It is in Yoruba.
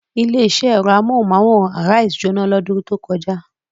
Ilé-iṣẹ́ ẹ̀rọ amóhùmáwòhán Arise jóná lọ́dún tó kọjá.